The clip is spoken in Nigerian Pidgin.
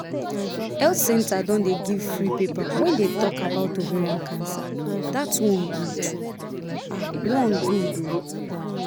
health centre don dey give free paper wey dey talk about ovarian cancer that one good um one good ooo